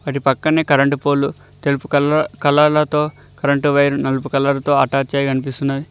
అటుపక్కన current పోల్లు తెలుపు కాల్ కలర్ల తో కరెంటు వైర్లు నలుపు కలర్ తో అటాచ్ అయి కనిపిస్తున్నాయి.